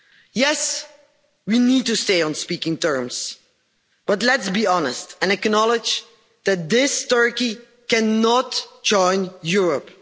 Yes, we need to stay on speaking terms, but let's be honest and acknowledge that this Turkey cannot join Europe.